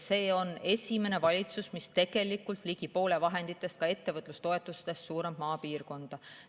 See on esimene valitsus, mis tegelikult ligi poole vahenditest, ka ettevõtlustoetustest suunab maapiirkonda.